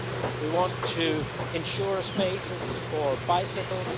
we want to ensure spaces for bicycles